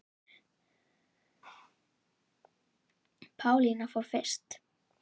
Pálína fór fyrst.